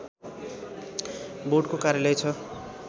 बोर्डको कार्यालय छ